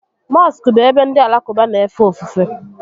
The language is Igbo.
Mọskụ bụ ebe ndị Alakụba n'éfè ofufè